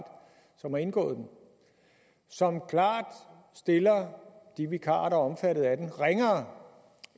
som har indgået den som klart stiller de vikarer der er omfattet af den ringere